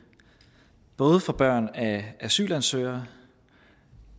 både for børn af asylansøgere